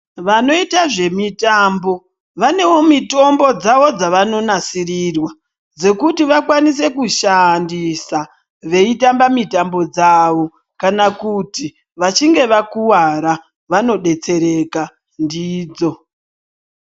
Vanoita zvemitambo vanewo mitombo dzavo dzavano nasirirwa dzekuti vakwanise kushandisa vachitamba mitambo dzavo kana kuti vachinge vakuvara vanodetsereka ndidzo